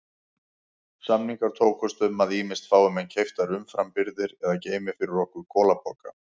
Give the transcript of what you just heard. Samningar tókust um að ýmist fái menn keyptar umframbirgðir eða geymi fyrir okkur kolapoka.